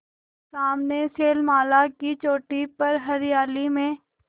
सामने शैलमाला की चोटी पर हरियाली में